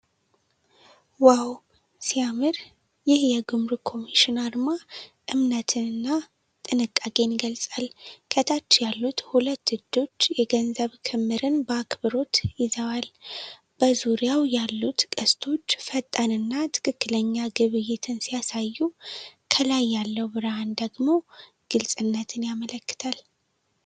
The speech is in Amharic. "ዋው! ሲያምር!" ይህ የጉምሩክ ኮሚሽን አርማ እምነትን እና ጥንቃቄን ይገልጻል። ከታች ያሉት ሁለት እጆች የገንዘብ ክምርን በአክብሮት ይዘዋል። በዙሪያው ያሉት ቀስቶች ፈጣን እና ትክክለኛ ግብይትን ሲያሳዩ፣ ከላይ ያለው ብርሃን ደግሞ ግልፅነትን ያመለክታል።